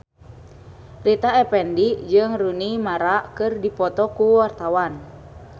Rita Effendy jeung Rooney Mara keur dipoto ku wartawan